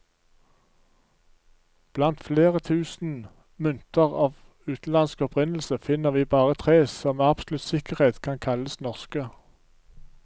Blant flere tusen mynter av utenlandsk opprinnelse, finner vi bare tre som med absolutt sikkerhet kan kalles norske.